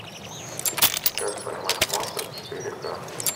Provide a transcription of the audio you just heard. как поймать монстра четыре ка